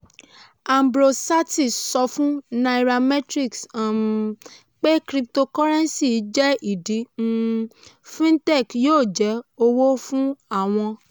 ambrose sartee sọ fún nairametrics um pé cryptocurrency jẹ́ ìdí um fintech yóò jẹ́ owó fún àwọn.